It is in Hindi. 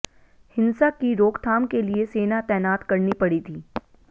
हिंसा की रोकथाम के लिए सेना तैनात करनी पड़ी थी